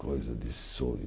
Coisa de sonho.